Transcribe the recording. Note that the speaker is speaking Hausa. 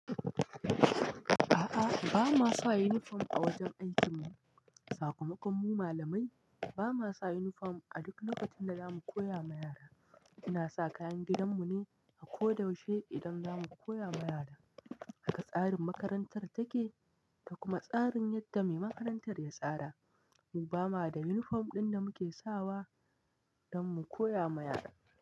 A'a, ba ma sa uniform a wajen aikin mu. Sakamakon mu malamai bama sa uniform a duk lokacin da zamu koya ma yara. Ina sa kayan gidan mu ne a ko da yaushe idan za mu koya ma yara. Haka tsarin makarantar take, da kuma tsarin yadda mai makarantar ya tsara. Mu bama da uniform ɗin da muke sawa don mu koya ma yara.